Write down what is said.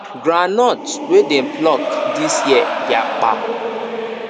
groundnut wey dey pluck this year yapa